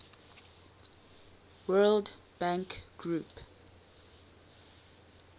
world bank group